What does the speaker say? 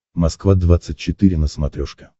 москва двадцать четыре на смотрешке